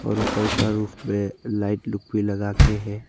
और ऊपर के रूफ पे लाइट लुक भी लगा के है।